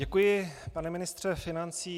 Děkuji, pane ministře financí.